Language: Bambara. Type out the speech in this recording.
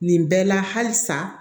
Nin bɛɛ la halisa